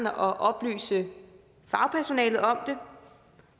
at oplyse fagpersonalet om det